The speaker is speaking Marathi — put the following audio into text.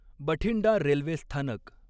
बठिंडा रेल्वे स्थानक